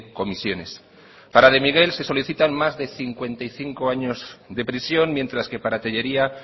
comisiones para de miguel se solicitan más de cincuenta y cinco años de prisión mientras que para tellería